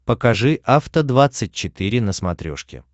покажи афта двадцать четыре на смотрешке